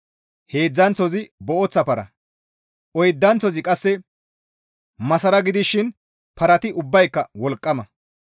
heedzdzanththozi booththa para, oydanththozi qasse masara gidishin parati ubbayka wolqqama.